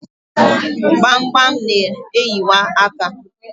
gbamgbam na-eyiwa aka.